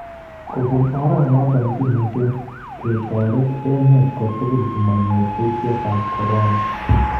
Kobuun oranoton kimuuch ketoret emet kotugul komonyoor kuutik ab coron.